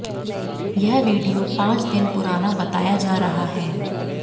यह वीडियो पांच दिन पुराना बताया जा रहा है